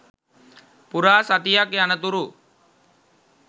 පුරා සතියක් යනතුරු